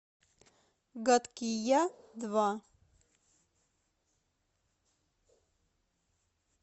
гадкий я два